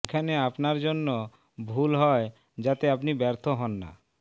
এখানে আপনার জন্য ভুল হয় যাতে আপনি ব্যর্থ হন না